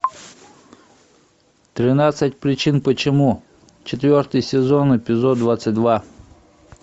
тринадцать причин почему четвертый сезон эпизод двадцать два